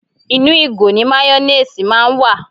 Inú ìgò ni máyónéèsì máa ń wà